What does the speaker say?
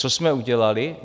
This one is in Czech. Co jsme udělali?